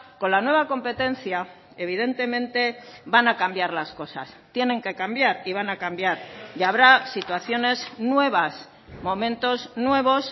con la nueva competencia evidentemente van a cambiar las cosas tienen que cambiar y van a cambiar y habrá situaciones nuevas momentos nuevos